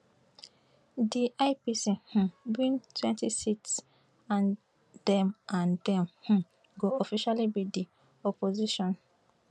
di ipc um wintwentyseats and dem and dem um go official be di opposition